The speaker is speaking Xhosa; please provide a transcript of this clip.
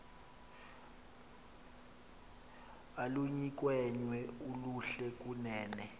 oluyinkwenkwe oluhle kunene